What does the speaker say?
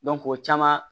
o caman